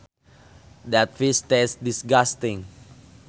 That fish tastes disgusting